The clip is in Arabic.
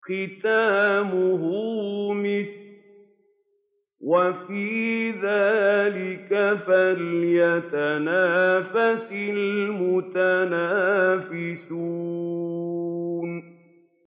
خِتَامُهُ مِسْكٌ ۚ وَفِي ذَٰلِكَ فَلْيَتَنَافَسِ الْمُتَنَافِسُونَ